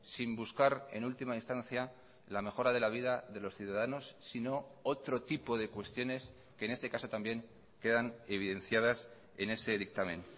sin buscar en última instancia la mejora de la vida de los ciudadanos sino otro tipo de cuestiones que en este caso también quedan evidenciadas en ese dictamen